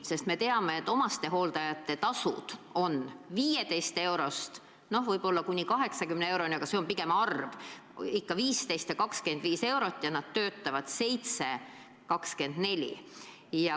Sest me teame, et omastehooldajate tasud võivad olla 15 eurost kuni 80 euroni, mis on pigem harv, enamasti ikka pigem 15 või 25 eurot, ja nad töötavad 7/24.